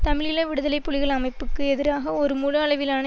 தமிழீழ விடுதலை புலிகள் அமைப்புக்கு எதிராக ஒரு முழு அளவிலான